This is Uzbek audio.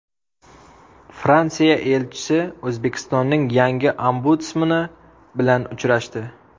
Fransiya elchisi O‘zbekistonning yangi ombudsmani bilan uchrashdi.